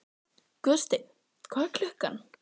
Guðsteinn, hvað er klukkan?